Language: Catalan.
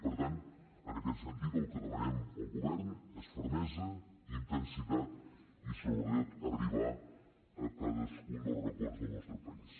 i per tant en aquest sentit el que demanem al govern és fermesa intensitat i sobretot arribar a cadascun dels racons del nostre país